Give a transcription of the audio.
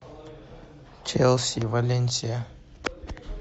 челси валенсия